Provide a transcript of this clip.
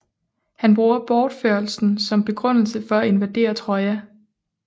Han bruger bortførelsen som begrundelse for at invadere Troja